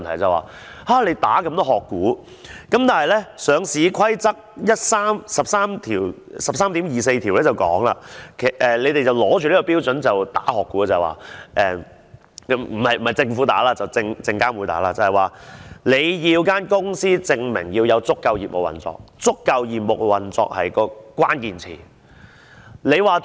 當局打擊這麼多"殼股"，但港交所的《上市規則》第 13.24 條訂明，當局是持着這個標準打擊"殼股"——不是政府打擊，而是證監會——它要公司證明有足夠業務運作，而"足夠業務運作"是關鍵詞。